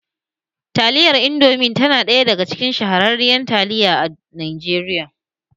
Taliyar Indomi na ɗaya daga cikin shahararrun nau'in taliya a Najeriya